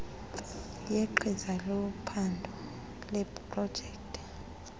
yegqiza lophando leeprojekthi